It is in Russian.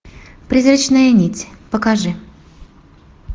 призрачная нить покажи